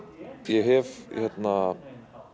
ég hef